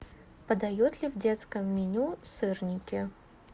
подают ли в детском меню сырники